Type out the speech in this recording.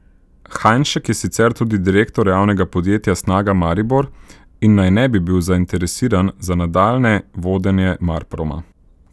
Hajnšek je sicer tudi direktor javnega podjetja Snaga Maribor in naj ne bi bil zainteresiran za nadaljnje vodenje Marproma.